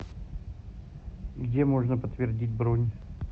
где можно подтвердить бронь